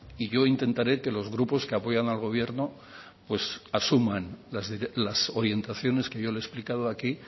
y yo intentaré que los grupos que apoyan al gobierno pues asuman las orientaciones que yo le he explicado aquí